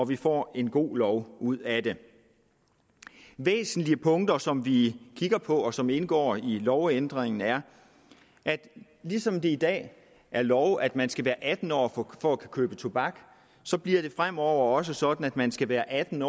vi får en god lov ud af det væsentlige punkter som vi kigger på og som indgår i lovændringen er at ligesom det i dag er lov at man skal være atten år for at kunne købe tobak så bliver det fremover også sådan at man skal være atten